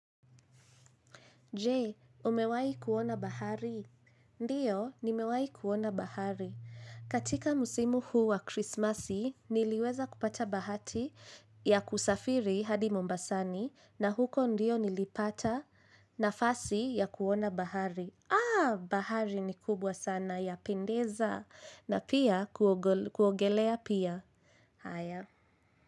Je, umewahi kuona bahari? Ndiyo, nimewahi kuona bahari. Katika msimu huu wa krismasi, niliweza kupata bahati ya kusafiri hadi mombasani na huko ndiyo nilipata nafasi ya kuona bahari. Aah, bahari ni kubwa sana yapendeza na pia kuogelea pia. Haya.